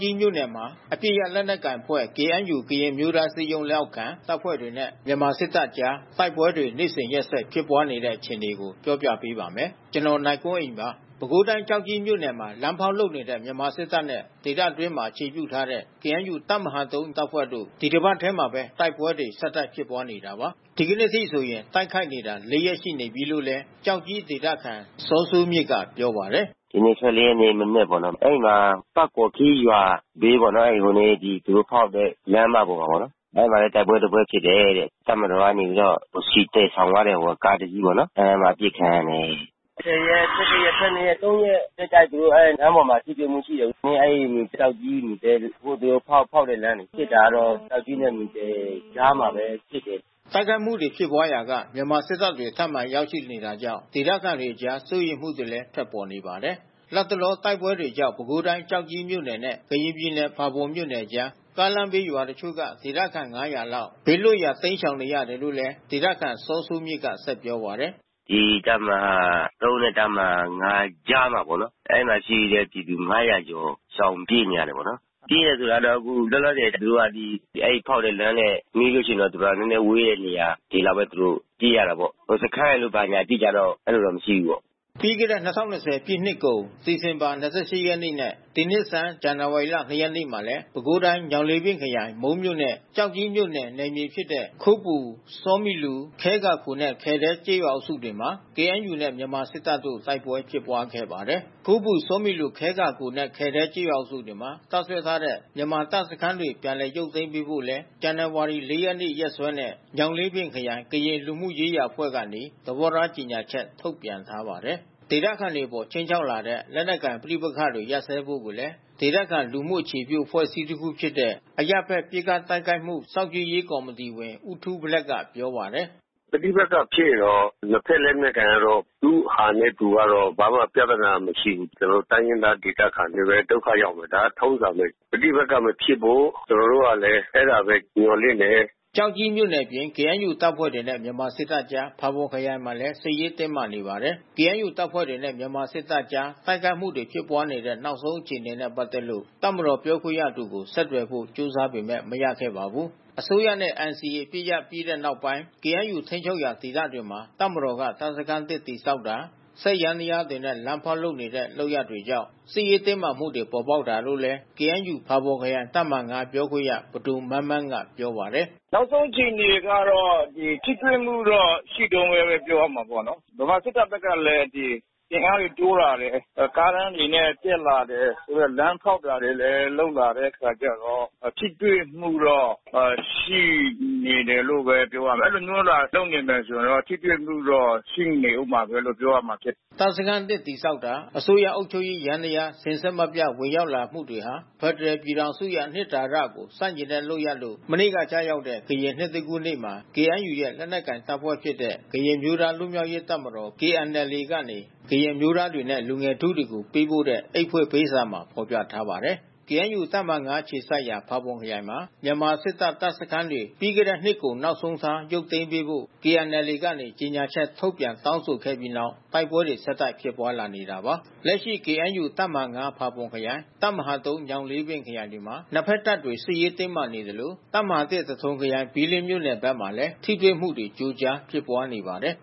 ကြီးမြို့နယ်မှာ အပစ်ရပ် လက်နက်ကိုင်အဖွဲ့ KNU ကရင်အမျိုးသားအစည်းအရုံး လက်အောက်ခံ တပ်ဖွဲ့တွေနဲ့ မြန်မာစစ်တပ်အကြား တိုက်ပွဲတွေ နေ့စဉ်ရက်ဆက် ဖြစ်ပွားနေတဲ့ အခြေအနေကို ပြောပြပေးပါမယ်။ ဗွီအိုအေမြန်မာပိုင်း သတင်းထောက် ကိုနိုင်ကွန်းအိန်က သတင်းပေးပို့ထားပါတယ်။ ပဲခူးတိုင်း၊ ကျောက်ကြီးမြို့နယ်မှာ လမ်းဖေါက်လုပ်နေတဲ့ မြန်မာစစ်တပ်နဲ့ ဒေသတွင်းမှာ အခြေပြုထားတဲ့ KNU တပ်မဟာ ၃ တပ်ဖွဲ့တို့ ဒီတပတ်ထဲမှာပဲ တိုက်ပွဲတွေ ဆက်တိုက်ဖြစ်ပွားနေတာပါ။ ဒီနေ့အထိဆိုရင် တိုက်ခိုက်နေတာ ၄ ရက် ရှိနေပြီလို့လည်း ကျောက်ကြီးဒေသခံ စောစိုးမြင့်ကပြောပါတယ်။ “ဒီနေ့ ၁၄ ရက်နေ့ မနက်ပေါ့နော်... အဲဒီမှာ တာ့ပေါ်ခီးရွာဘေးပေါ့နော်။ အဲဒီ သူတို့ ဖေါက်တဲ့လမ်းမပေါ်မှာပေါ့နော်။ အဲဒီမှာလဲ တိုက်ပွဲတပွဲဖြစ်တယ်တဲ့။ တပ်မတော်ကနေပြီးတော့ ဆီသယ်ဆောင်သွားတဲ့ ကားတစီးပေါ့နော်.. အဲဒီမှာ အပစ်ခံရတယ်။ ၁၀ ရက်၊ ၁၁ ရက်၊ ၁၂ ရက်... ၃ ရက် ဆက်တိုက်ပဲ လမ်းပေါ်မှာ ထိတွေ့မှုရှိတယ်။ အဲဒီကျောက်ကြီး မူသဲဖေါက်တဲ့လမ်းလေ။ ပစ်တာကတော့ ကျောက်ကြီးနဲ့ မူသဲကြားမှာပဲ ပစ်တယ်။” တိုက်ခိုက်မှုတွေ ဖြစ်ပွားရာက မြန်မာစစ်တပ်တွေ ထပ်မံရောက်ရှိလာနေတာကြောင့် ဒေသခံတွေကြား စိုးရိမ်မှုတွေလည်း ထွက်ပေါ်နေပါတယ်။ လတ်တလော တိုက်ပွဲတွေကြောင့် ပဲခူးတိုင်း၊ ကျောက်ကြီးမြို့နယ်နဲ့ ကရင်ပြည်နယ် ဖာပွန်မြို့နယ်ကြား ကားလမ်းဘေးက ရွာတချို့က ဒေသခံ ၅၀၀ လောက် ဘေးလွတ်ရာ တိမ်းရှောင်နေရတယ်လို့လည်း ဒေသခံစောစိုးမြင့်က ပြောပါတယ်။ “ဒီတပ်မဟာ ၃ နဲ့ တပ်မဟာ ၅ ကြားမှာပေါ့နော်။ အဲဒီမှာရှိတဲ့ပြည်သူ ၅၀၀ ကျော် ရှောင်ပြေးနေရတာပေါ့နော်။ ပြေးတယ်ဆို တာကအခု လောလောဆယ်သူတို့က အဲဒီဖေါက်တဲ့လမ်းနဲ့ နီးလို့ရှိရင်တော့ နည်းနည်းဝေးတဲ့နေရာတွေလောက်ပဲ ပြေးရတာပေါ့။ စခန်းရယ်လို့ ဘာညာ အတိအကျတော့ မရှိဘူးပေါ့နော်။” ပြီးခဲ့တဲ့ ၂၀၂၀ ပြည့်နှစ်ကုန် ဒီဇင်ဘာ ၂၈ ရက်နေ့နဲ့ ဒီနှစ်ဆန်း ဇန်နဝါရီ ၂ ရက်နေ့မှာလည်း ပဲခူးတိုင်း ညောင်လေးပင်ခရိုင် မုန်းမြို့နယ်နဲ့ ကျောက်ကြီး မြို့နယ် နယ်မြေဖြစ်တဲ့ ခိုးပူ ဆောမီလူ ခဲကာခိုနဲ့ ခဲဒဲကျေးရွာအုပ်စုတွေမှာ KNU နဲ့ မြန်မာစစ်တပ်တို့ တိုက်ပွဲဖြစ်ပွါးခဲ့ပါတယ်။ ခိုးပူ ဆောမီလူ ခဲကာခိုနဲ့ ခဲဒဲကျေးရွာအုပ်စုတွေမှာ တပ်စွဲထားတဲ့ မြန်မာစစ်တပ်စခန်းတွေ ပြန်လည်ရုပ်သိမ်းပေးဖို့လည်း ဇန်နဝါရီ ၄ ရက်နေ့ရက်စွဲနဲ့ ညောင်လေးပင်ခရိုင် ကရင်လူမှုရေးရာအဖွဲ့ကနေ သဘောထားကြေညာချက် ထုတ်ပြန်ထားပါတယ်။ ဒေသခံတွေအပေါ် ခြိမ်းခြောက်လာနေတဲ့ လက်နက်ကိုင် ပဋိပက္ခတွေ ရပ်စဲဖို့လည်း ဒေသခံ လူမှုအခြေပြုအဖွဲ့တခုဖြစ်တဲ့ အရပ်ဘက်ပစ်ခတ်တိုက်ခိုက်မှု စောင့်ကြည့်ရေးကော်မီတီဝင် ဦးထူးဘလက်ကပြောပါတယ်။ “ပဋိပက္ခဖြစ်ရင်တော့ နှစ်ဘက်လက်နက်ကိုင်ကတော့ သူ့ဟာနဲ့ သူကတော့ ဘာမှပြဿနာမရှိဘူး။ ကျနော်တို့ တိုင်းရင်းသား ဒေသခံတွေပဲ ဒုက္ခရောက်မယ်။ ဒါကထုံးစံပဲ။ ပဋိပက္ခမဖြစ်ဖို့ ကျနော်တို့ကလည်း အဲဒါပဲ မျှော်လင့်တယ်။” ကျောက်ကြီးမြို့နယ်အပြင် KNU တပ်ဖွဲ့တွေနဲ့ မြန်မာစစ်တပ်ကြား ဖာပွန်ခရိုင်မှာလည်း စစ်ရေးတင်းမာနေပါတယ်။ KNU တပ်ဖွဲ့တွေနဲ့ မြန်မာစစ်တပ်ကြား တိုက်ခိုက်မှုတွေ ဖြစ်ပွားနေတဲ့ နောက်ဆုံးအခြေအနေနဲ့ ပတ်သက်လို့ တပ်မတော် ပြောခွင့်ရသူကို ဆက်သွယ်ဖို့ ကြိုးစားပေမဲ့ မရခဲ့ပါဘူး။ အစိုးရနဲ့ NCA အပစ်ရပ်စဲပြီးတဲ့နောက်ပိုင်း KNU ထိန်းချုပ်ရာ ဒေသတွေမှာ တပ်မတော်က တပ်စခန်းသစ်တည်ဆောက်တာ၊ စက်ယန္တရားတွေနဲ့ လမ်းဖေါက်လုပ်နေတဲ့ လုပ်ရပ်တွေကြောင့် စစ်ရေးတင်းမာမှုတွေ ပေါ်ပေါက်နေတာလို့လည်း KNU ဖာပွန်ခရိုင်တပ်မဟာ ၅ ပြောခွင့်ရ ပဒိုမန်းမန်း ကပြောပါတယ်။ “နောက်ဆုံးအခြေအနေကတော့ ထိတွေ့မှုတော့ ရှိတုန်းပဲ ပြောရမှာပေါ့နော်။ မြန်မာစစ်တပ်ဘက်ကလည်း အင်အားတွေတိုးလာတယ်။ ကားတန်းတွေနဲ့ တက်လာတယ်။ ဆိုတော့လမ်းဖေါက်တာတွေလည်း လုပ်လာတဲ့အခါကျတော့ ထိတွေ့မှုတော့ ရှိနေတယ်လို့ပဲ ပြောရမယ်။ အဲဒီလိုမျိုးသာ လုပ်နေမယ်ဆိုရင်တော့ ထိတွေ့မှုတော့ ရှိနေဦးမှာပဲလို့ ပြောရမှာဖြစ်တယ်။” တပ်စခန်းသစ်တည်ဆောက်တာ အစိုးရအုပ်ချုပ်ရေး ယန္တရားများ စဉ်ဆက်မပြတ် ဝင်ရောက် လာမှုတွေဟာ ဖက်ဒရယ် ပြည်ထောင်စုရဲ့ အနှစ်သာရကို ဆန့်ကျင်တဲ့လုပ်ရပ်လို့ မနေ့ကကျရောက်တဲ့ ကရင်နှစ်သစ်ကူးနေ့မှာ KNU ရဲ့ လက်နက်ကိုင်တပ်ဖွဲ့ဖြစ်တဲ့ ကရင်အမျိုးသား လွတ်မြောက်ရေးတပ်မတော် KNLA ကနေ ကရင်အမျိုးသားတွေနဲ့ လူငယ်ထုကို ပေးပို့တဲ့ အိတ်ဖွင့်ပေးစာမှာ ဖော်ပြထားပါတယ်။ KNU တပ်မဟာ ၅ အခြေစိုက်ရာ ဖာပွန်ခရိုင်မှာ မြန်မာစစ်တပ်တပ်စခန်းတွေ ပြီးခဲ့တဲ့နှစ်ကုန် နောက်ဆုံးထား ရုပ်သိမ်းပေးဖို့ KNLA ကနေ ကြေညာချက်ထုတ်ပြန် တောင်းဆိုခဲ့ပြီးနောက် တိုက်ပွဲတွေ ဆက်တိုက်ဖြစ်ပွါးလာနေတာပါ။ လက်ရှိ KNU တပ်မဟာ ၅ ဖာပွန်ခရိုင် တပ်မဟာ ၃ ညောင်လေးပင်ခရိုင်တွေမှာ နှစ်ဘက်တပ်တွေ စစ်ရေးတင်းမာနေသလို တပ်မဟာ ၁ သထုံခရိုင် ဘီးလင်းမြို့နယ်ဘက်မှာလည်း ထိတွေ့မှု ကြိုကြားဖြစ်ပွါးနေပါတယ်